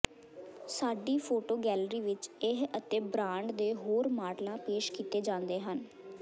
ਸਾਡੀ photo gallery ਵਿੱਚ ਇਹ ਅਤੇ ਬ੍ਰਾਂਡ ਦੇ ਹੋਰ ਮਾਡਲਾਂ ਪੇਸ਼ ਕੀਤੇ ਜਾਂਦੇ ਹਨ